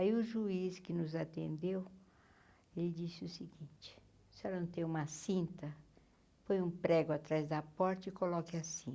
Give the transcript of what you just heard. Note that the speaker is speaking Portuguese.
Aí o juiz que nos atendeu, ele disse o seguinte, a senhora não tem uma cinta, põe um prego atrás da porta e coloque a